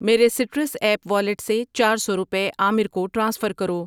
میرے citrus app wallet سے چار سو روپے عامر کو ٹرانسفر کرو۔